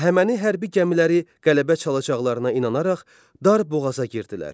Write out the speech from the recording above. Əhəməni hərbi gəmiləri qələbə çalacaqlarına inanaraq dar boğaza girdilər.